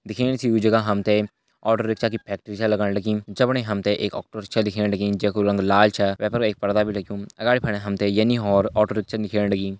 दिखेण से यु जगह हम ते ऑटो रिक्शा की फैक्ट्री छा लगण लगीं जफणि हम ते एक ऑटो रिक्शा दिखेण लगीं जैकु रंग लाल छा वै पर एक पर्दा भी लग्युं अगाड़ी फणा हम ते यनि और रिक्शा दिखेण लगीं।